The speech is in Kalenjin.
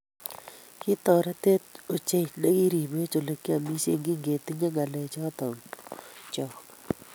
Kitotoretech ochei nekiribwech olegiamishen kigetinyei ngalechoto chok